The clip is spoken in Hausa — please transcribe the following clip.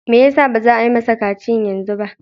Me yasa baza a yi masa kaciyan yanzu ba?